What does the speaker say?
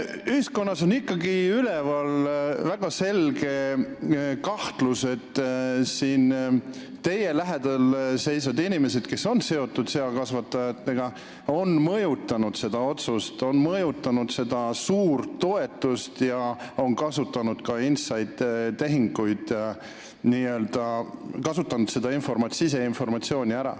Ühiskonnas on ikkagi üleval väga selge kahtlus, et teile lähedal seisvad inimesed, kes on seakasvatajatega seotud, on mõjutanud seda otsust maksta nii suurt toetust ja on kasutanud ära siseinformatsiooni.